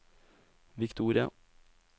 Victoria